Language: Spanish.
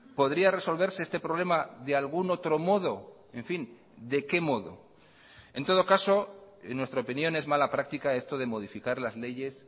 podría resolverse este problema de algún otro modo en fin de qué modo en todo caso en nuestra opinión es mala práctica esto de modificar las leyes